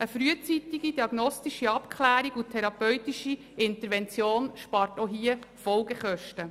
Eine frühzeitige diagnostische Abklärung und therapeutische Intervention sparen auch hier Folgekosten.